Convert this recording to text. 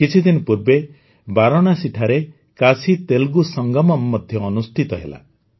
କିଛିଦିନ ପୂର୍ବେ ବାରାଣସୀ ଠାରେ କାଶୀତେଲୁଗୁ ସଙ୍ଗମମ୍ ମଧ୍ୟ ଅନୁଷ୍ଠିତ ହେଲା